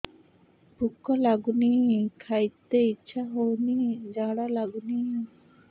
ଭୁକ ଲାଗୁନି ଖାଇତେ ଇଛା ହଉନି ଝାଡ଼ା ଲାଗୁନି